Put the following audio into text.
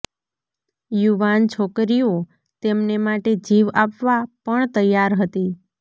યુવાન છોકરીઓ તેમને માટે જીવ આપવા પણ તૈયાર હતી